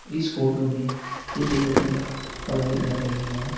इस फोटो में कुछ लड़कियाँ पढ़ाई कर रही हैं।